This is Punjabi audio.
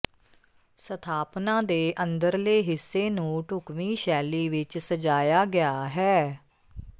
ਸਥਾਪਨਾ ਦੇ ਅੰਦਰਲੇ ਹਿੱਸੇ ਨੂੰ ਢੁਕਵੀਂ ਸ਼ੈਲੀ ਵਿੱਚ ਸਜਾਇਆ ਗਿਆ ਹੈ